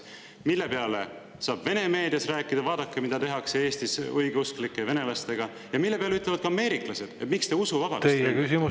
Selle peale saab Vene meedias rääkida: "Vaadake, mida tehakse Eestis õigeusklike venelastega," ja selle peale ütlevad ameeriklased: "Miks te usuvabadust ?"